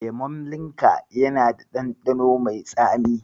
Lemon Limca yana da ɗanɗano mai tsami.